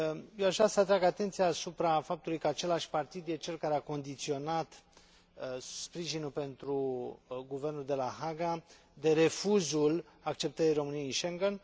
Eu aș vrea să atrag atenția asupra faptului că același partid este cel care a condiționat sprijinul pentru guvernul de la Haga de refuzul acceptării României în Schengen.